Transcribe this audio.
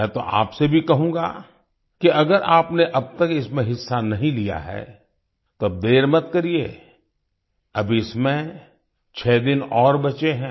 मैं तो आपसे भी कहूँगा कि अगर आपने अब तक इसमें हिस्सा नहीं लिया है तो अब देर मत करिए अभी इसमें छः दिन और बचे हैं